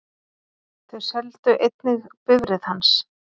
Þau seldu einnig bifreið hans.